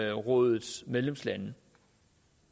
europarådets medlemslande